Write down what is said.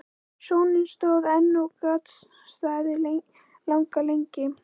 Sónninn stóð enn og gat staðið langa lengi.